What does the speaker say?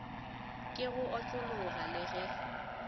ke go otlologa le ge